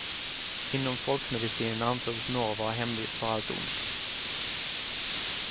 Inom folkmedicinen ansågs norr vara hemvist för allt ont.